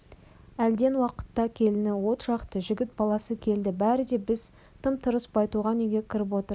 әлден уақытта келіні от жақты жігіт баласы келді бәрі де бізге тым-тырыс байтуған үйге кіріп отырды